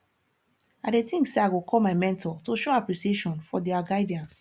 i dey think say i go call my mentor to show appreciation for dia guidance